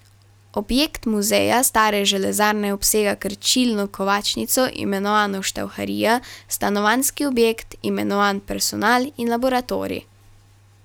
Objekt muzeja stare železarne obsega krčilno kovačnico, imenovano štauharija, stanovanjski objekt, imenovan personal, in laboratorij.